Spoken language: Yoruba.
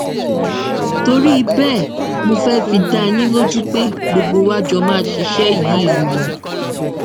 torí bẹẹ mo fẹẹ fi dá yín lójú pé gbogbo wa jọ máa ṣiṣẹ yìí ni